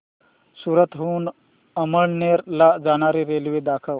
सूरत हून अमळनेर ला जाणारी रेल्वे दाखव